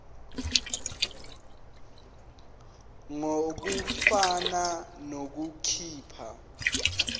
ngur ukufuna nokukhipha